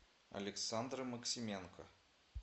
александры максименко